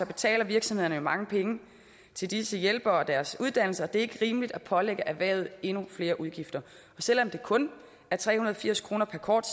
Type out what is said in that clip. betaler virksomhederne jo mange penge til disse hjælpere og deres uddannelser og det er ikke rimeligt at pålægge erhvervet endnu flere udgifter selv om det kun er tre hundrede og firs kroner per kort